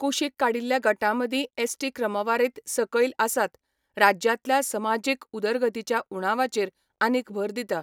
कुशीक काडिल्ल्या गटां मदीं एसटी क्रमवारींत सकयल आसात, राज्यांतल्या समाजीक उदरगतीच्या उणावाचेर आनीक भर दिता.